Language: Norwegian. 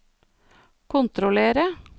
kontrollere